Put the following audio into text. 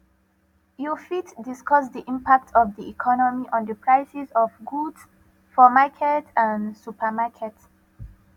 you fit discuss di impact of di economy on di prices of goods for market and supermarket